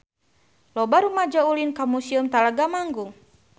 Loba rumaja ulin ka Museum Talaga Manggung